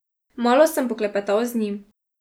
Malo sem poklepetal z njim.